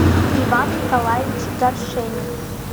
иван николаевич горшенин